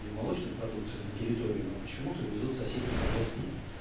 или молочную продукцию на территорию но почему-то везут с соседних областей